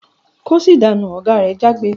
"Kóṣì dànú!" Oga re jágbe.